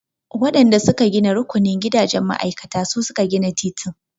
Waɗan da su ka gina rukunin gidajen ma'aikata su suka gina titin.